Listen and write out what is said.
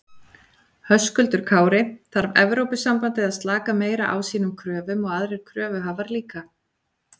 Höskuldur Kári: Þarf Evrópusambandið að slaka meira á sínum kröfum og aðrir kröfuhafar líka?